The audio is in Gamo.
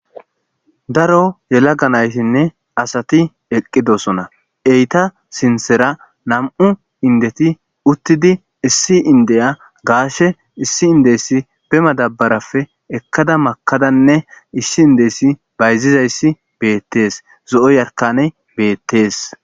Daro yelaga naytinne asat eqidosona, Sinthera 2 indet eqid issi indiya gashe issi indiys be madabarappe ekada makadanne issi indeys betizays betes, zo'o yarkaney betes.